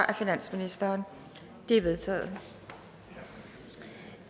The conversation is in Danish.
af finansministeren det er vedtaget